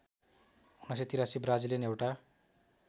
१९८३ Brazilian एउटा